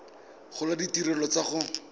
gola le ditirelo tsa go